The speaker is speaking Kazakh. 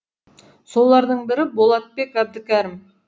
солардың бірі болатбек әбдікәрім